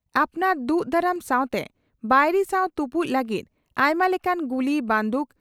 ᱟᱯᱱᱟᱨ ᱫᱩᱜ ᱫᱟᱨᱟᱢ ᱥᱟᱣᱛᱮ ᱵᱟᱹᱭᱨᱤ ᱥᱟᱣ ᱛᱩᱯᱩᱫ ᱞᱟᱹᱜᱤᱫ ᱟᱭᱢᱟ ᱞᱮᱠᱟᱱ ᱜᱩᱞᱤ ᱵᱟᱸᱫᱩᱠ